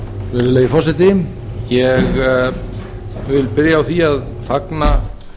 virðulegi forseti ég vil byrja á því að fagna